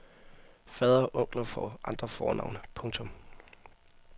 Fader og onkler får andre fornavne. punktum